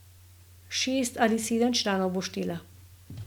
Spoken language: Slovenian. Šest ali sedem članov bo štela.